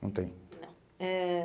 Não tem. Ãh eh